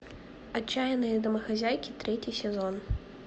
отчаянные домохозяйки третий сезон